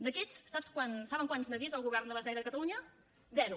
d’aquests saben quants n’ha vist el govern de la generalitat de catalunya zero